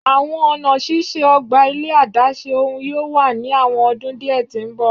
Awọn ọna ṣiṣe ogba ile adaṣe ohun yoo wa ni awọn ọdun diẹ ti mbọ